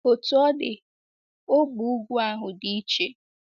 Otú ọ dị ógbè ugwu ahụ dị iche.